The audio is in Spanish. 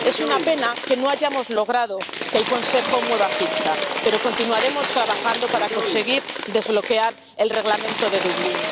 Es una pena que no hayamos logrado que el Consejo mueva ficha, pero continuaremos trabajando para conseguir desbloquear el Reglamento de Dublín.